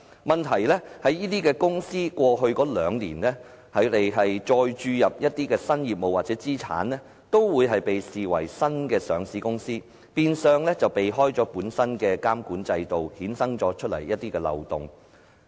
問題在於這些公司過去兩年再注入一些新業務或資產，都會被視為新的上市公司，變相避開了本身的監管制度，衍生了一些漏洞。